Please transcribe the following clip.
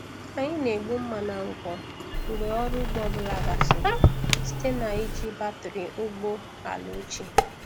Anyị na-egbu mma na ngwọ mgbe ọrụ ugbo ọ bụla gasịrị site na iji batrị ụgbọ ala ochie.